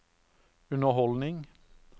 underholdning